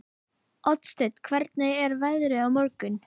Oddsteinn, hvernig er veðrið á morgun?